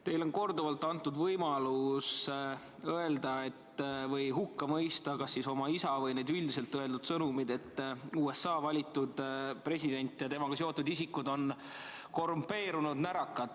Teile on korduvalt antud võimalus hukka mõista kas oma isa või üldiselt öeldud sõnumeid, et USA valitud president ja temaga seotud isikud on korrumpeerunud närakad.